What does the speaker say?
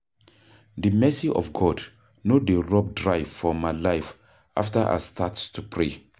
The mercy of God no dey rub dry for my life after I start to pray